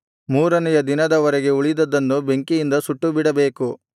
ಮೂರನೆಯ ದಿನದ ವರೆಗೆ ಉಳಿದದ್ದನ್ನು ಬೆಂಕಿಯಿಂದ ಸುಟ್ಟುಬಿಡಬೇಕು